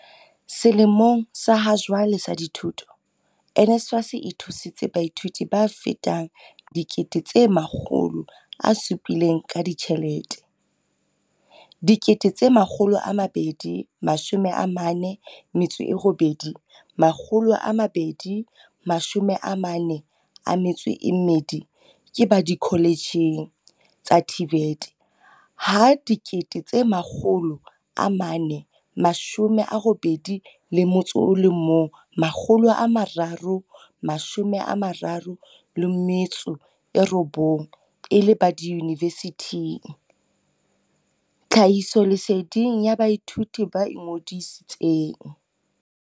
"Selemong sa hajwale sa dithuto, NSFAS e thusitse baithuti ba fetang 700 000 ka ditjhelete, 248 242 ke ba dikoletjheng tsa TVET ha 481 339 e le ba diyuni vesithing, tlhahisoleseding ya baithuti ba ingodisi tseng."